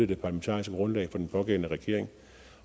det parlamentariske grundlag for den pågældende regering